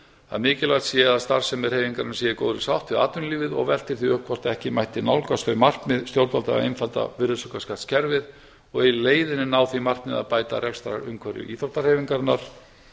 að mikilvægt sé að starfsemi hreyfingarinnar sé í góðri sátt við atvinnulífið og veltir því upp hvort ekki mætti nálgast þau markmið stjórnvalda að einfalda virðisaukaskattskerfið og í leiðinni að ná því markmiði að bæta rekstrarumhverfi íþróttahreyfingarinnar